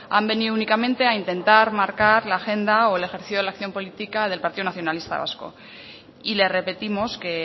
han venido únicamente a intentar marcar la agenda o el ejercicio de la acción política del partido nacionalista vasco y le repetimos que